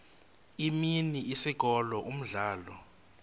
imini isikolo umdlalo